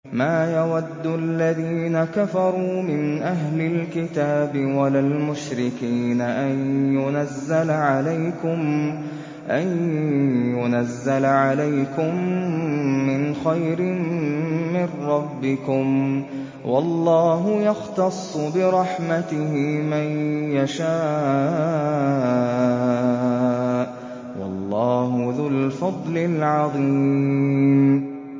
مَّا يَوَدُّ الَّذِينَ كَفَرُوا مِنْ أَهْلِ الْكِتَابِ وَلَا الْمُشْرِكِينَ أَن يُنَزَّلَ عَلَيْكُم مِّنْ خَيْرٍ مِّن رَّبِّكُمْ ۗ وَاللَّهُ يَخْتَصُّ بِرَحْمَتِهِ مَن يَشَاءُ ۚ وَاللَّهُ ذُو الْفَضْلِ الْعَظِيمِ